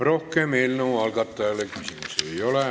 Rohkem eelnõu algatajale küsimusi ei ole.